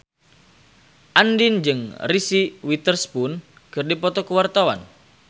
Andien jeung Reese Witherspoon keur dipoto ku wartawan